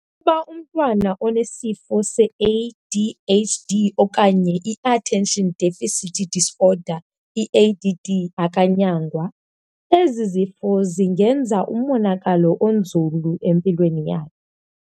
Ukuba umntwana onesifo se-ADHD okanye iattention deficit disorder, i-ADD, akanyangwa, ezi zifo zingenza umonakalo onzulu empilweni yakhe.